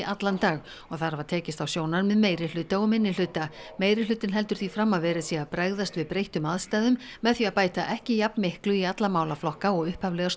allan dag og þar hafa tekist á sjónarmið meirihluta og minnihluta meirihlutinn heldur því fram að verið sé að bregðast við breyttum aðstæðum með því að bæta ekki jafnmiklu í alla málaflokka og upphaflega